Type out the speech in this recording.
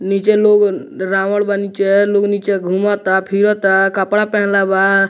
नीचे लोग रावण बा नीचे लोग नीचे घुमता फिरता कपड़ा पहिनले बा।